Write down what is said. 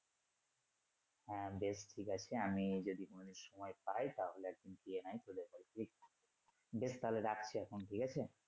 হ্যা বেশ ঠিক আছে আমি যদি কোনদিন আমি সময় পাই তাহলে একদিন গিয়ে নাহয় তোদের বাড়ি থেকে বেশ তাহলে রাখছি এখন ঠিক আছে।